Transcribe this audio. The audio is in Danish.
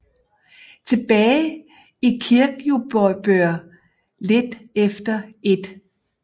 Tilbage i Kirkjubøur lidt efter 1